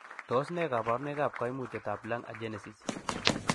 Tos nee koborunoikab koimutietab Lung agenesis?